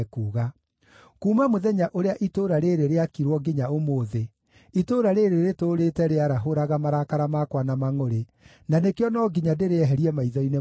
Kuuma mũthenya ũrĩa itũũra rĩĩrĩ rĩakirwo nginya ũmũthĩ, itũũra rĩĩrĩ rĩtũũrĩte rĩarahũraga marakara makwa na mangʼũrĩ, na nĩkĩo no nginya ndĩrĩeherie maitho-inĩ makwa.